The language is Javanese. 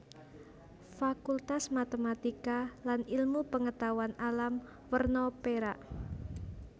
Fakultas Matematika lan Ilmu Pengetahuan Alam werna perak